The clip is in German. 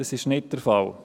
Das ist nicht der Fall!